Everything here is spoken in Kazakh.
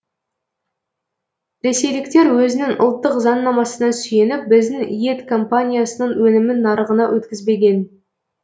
ресейліктер өзінің ұлттық заңнамасына сүйеніп біздің ет компаниясының өнімін нарығына өткізбеген